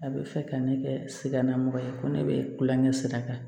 A bɛ fɛ ka ne kɛ sikanamɔgɔ ye ko ne bɛ kulonkɛ sira kan